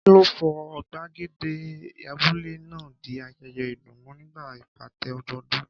Kí ló sọ gbàgede abúlé náà di ayẹyẹ ìdùnnú nígbà ìpàtẹ ọdọọdún?